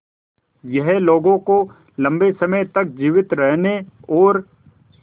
यह लोगों को लंबे समय तक जीवित रहने और